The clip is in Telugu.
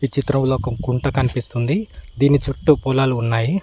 ఈ చిత్రంలో ఒక కుంట కనిపిస్తుంది దీని చుట్టూ పొలాలు ఉన్నాయి.